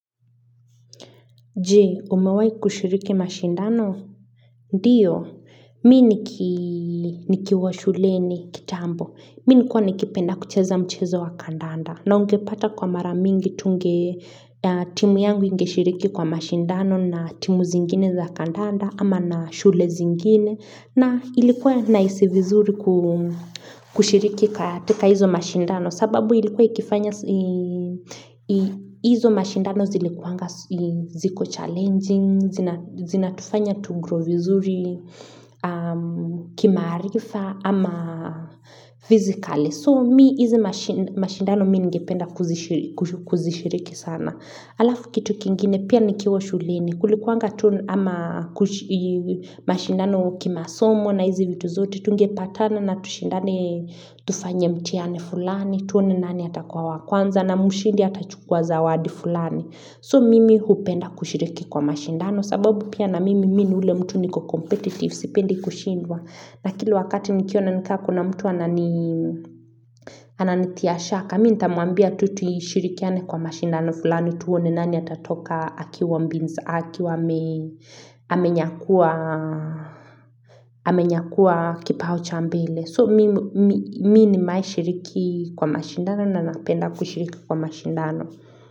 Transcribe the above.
Jee, umewai kushiriki mashindano? Ndiyo, mi nikiwa shuleni kitambo. Minikuwa nikipenda kucheza mchezo wa kandanda. Na ungepata kwa maramingi tunge timu yangu ingeshiriki kwa mashindano na timu zingine za kandanda ama na shule zingine. Na ilikuwa na hisi vizuri kushiriki katika hizo mashindano. Sababu ilikuwa ikifanya, hizo mashindano zilikuanga ziko challenging, zina tufanya tugrow vizuri, kimarifa, ama fizikali. So mi, hizi mashindano mi ngependa kuzishiriki sana. Alafu kitu kingine pia nikiwa shuleni. Kulikuanga tu ama mashindano kimasomo na hizi vitu zote tungepatana na tushindane tufanya mtiani fulani tuone nani atakuwa wa kwanza na mushidi atachukwa zawadi fulani. So mimi hupenda kushiriki kwa mashindano sababu pia na mimi minu ule mtu niko competitive sipendi kushindwa na kilu wakati nikiwa na nika kuna mtu anani anani tiashaka. Mitamuambia tu tushirikiane kwa mashindano fulani tuone nani atatoka akiwa mbinza akiwa amenyakuwa kipao cha mbele. So mimi nimaishiriki kwa mashindano na napenda kushiriki kwa mashindano.